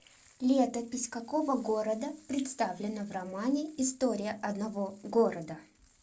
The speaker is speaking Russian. летопись какого города представлена в романе история одного города